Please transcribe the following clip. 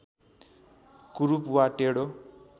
कुरूप वा टेढो